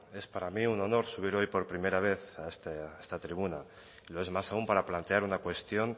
es para mí un honor subir hoy por primera vez a esta tribuna lo es más aún para plantear una cuestión